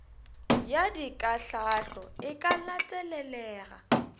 ya dikahlaahlo e ka latelelega